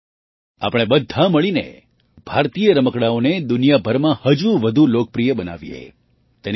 આવો આપણે બધાં મળીને ભારતીય રમકડાંઓને દુનિયાભરમાં હજુ વધુ લોકપ્રિય બનાવીએ